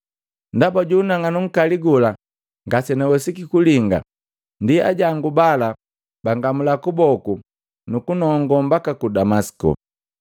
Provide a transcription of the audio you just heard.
Ndaba ju unang'anu nkali gola ngasenawesiki kulinga ndi ajangu bala bangamula kuboku nukunongo mbaka ku Damasiko.”